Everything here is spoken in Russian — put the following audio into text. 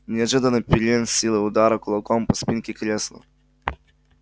неожиданно пиренн с силой ударил кулаком по спинке кресла